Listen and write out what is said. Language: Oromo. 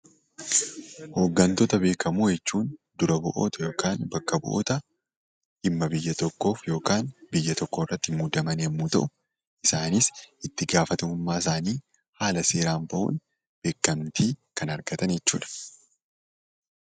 Hoggantoota Beekamoo jechuun dura bu'oota yookaan bakka bu'oota dhimma buyya tokkoof yookaan biyya tokkoof muudaman yoo ta’u, isaanis itti gaafatamummaa isaanii haala seera bahuun beekamtii kan argatan jechuudha.